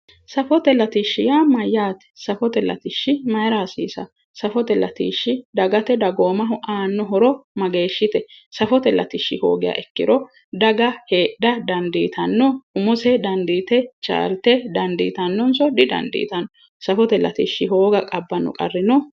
Safote latishshi yaa mayyate safote latishshi Mayra hasiisanno safote latishshi dagate dagoomaho aanno horo mageeshshite safote latishshi hoogiha ikkiro daga hedhara dandiitanno umose dandite chaalte dandiitannonso didandiitanno safote latishshi hooga abbanno qarri no?